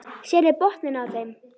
Sérðu botninn á þeim.